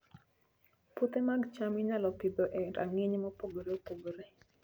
Puothe mag cham inyalo Pidho e rang'iny mopogore opogore